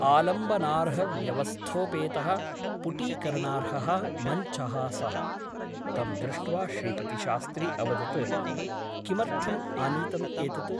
आलम्बनार्हव्यवस्थोपेतः पुटीकरणार्हः मञ्चः सः । तं दृष्ट्वा श्रीपतिशास्त्री अवदत् किमर्थम् आनीतम् एतत् ?